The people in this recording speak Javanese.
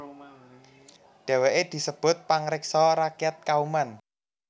Dheweke disebut pangreksa rakyat Kauman